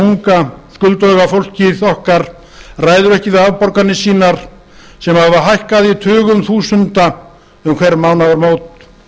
unga skulduga fólkið okkar ræður ekki við afborganir sínar sem hafa hækkað í tugum þúsunda um hver